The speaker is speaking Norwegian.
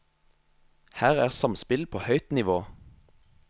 Her er samspill på høyt nivå.